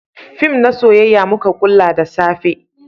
fim na soyayya muka kulla da safe